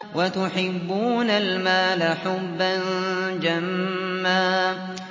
وَتُحِبُّونَ الْمَالَ حُبًّا جَمًّا